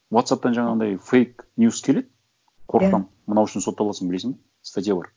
уотсапптан жаңағындай фейк ньюс келеді қорқытамын мынау үшін сотталасың білесің бе статья бар